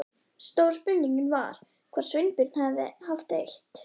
Stóra spurningin var hvort Sveinbjörn hefði haft eitt